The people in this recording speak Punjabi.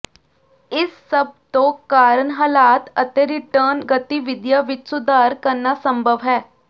ਇਸ ਸਭ ਤੋਂ ਕਾਰਨ ਹਾਲਾਤ ਅਤੇ ਰਿਟਰਨ ਗਤੀਵਿਧੀਆਂ ਵਿੱਚ ਸੁਧਾਰ ਕਰਨਾ ਸੰਭਵ ਹੈ